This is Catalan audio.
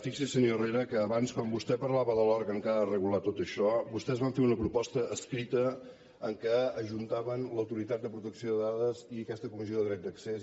fixi’s senyor herrera que abans quan vostè parlava de l’òrgan que ha de regular tot això vostès van fer una proposta escrita en què ajuntaven l’autoritat de protecció de dades i aquesta comissió de dret d’accés